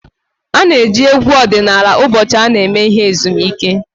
A na-eji egwu ọdịnala ụbọchị ndị a eme ihe ezumike